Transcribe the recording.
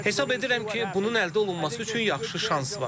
Hesab edirəm ki, bunun əldə olunması üçün yaxşı şans var.